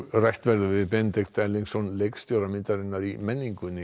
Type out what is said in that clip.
rætt verður við Benedikt Erlingsson leikstjóra myndarinnar í menningunni